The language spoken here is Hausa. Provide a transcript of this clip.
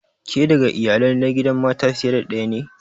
Ke daga Iyalai na gidan mata fiye da daya ne?